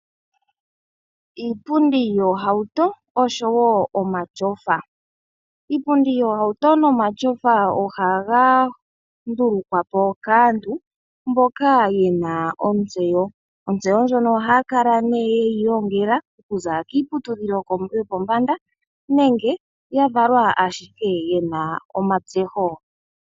Iipundi yoohauto oshowo omashofa. Iipundi yoohauto nomashofa ohaga ndulukwa po kaantu mboka yena ontseyo, ontseyo ndjono ohaya kala nee yeyi ilongela okuza kiiputudhilo yopombanda nenge ya valwa shike yena omatseho.